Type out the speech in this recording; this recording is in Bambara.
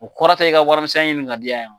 O kɔrɔ tɛ i ka warimisɛn ɲini ka diya yeya.